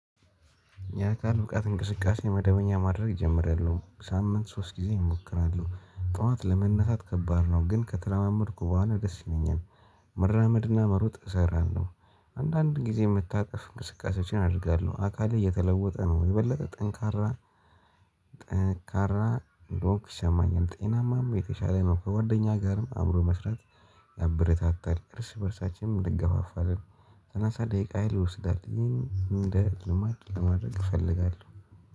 ያ አካል ብቃት እንቅስቃሴ መደበኛ ማድረግ ጀምሬያለሁ። ሳምንት ሶስት ጊዜ እሞክራለ፤ ጠዋት ለመነታት ከባድ ነው፤ ግን ከተላመድኩ በኋላ ደስ ይለኛል። መራመድና መሩጥ እሰራለሁ። አንዳንድ ጊዜ የምታጠፍ እንቅስቃሴዎችን አደርጋለሁ አካልህ የተለወጠ ነው የበለጠ ጠንካራ ጠንካራ ሮክ ሰማኝን ጤናማም የተሻለ መብክ ከጓደኛ ጋርም አእምሮ መስራት ያበረታታል እርስ በእርሳችንም ልገፋፋልን ሰናሳ ደቂቃ ይወስዳል ይህን እንደ ልማድ ለማድረግ እፈልጋለሁ